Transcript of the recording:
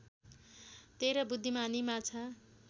१३ बुद्धिमानी माछा